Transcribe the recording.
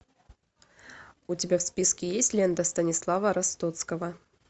у тебя в списке есть лента станислава ростоцкого